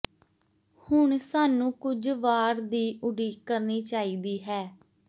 ਹੁਣ ਸਾਨੂੰ ਕੁਝ ਵਾਰ ਦੀ ਉਡੀਕ ਕਰਨੀ ਚਾਹੀਦੀ ਹੈ